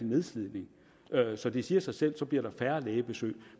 nedslidning så det siger sig selv at der så bliver færre lægebesøg